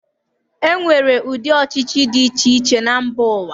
E nwere ụdị ọchịchị dị iche iche na mba ụwa.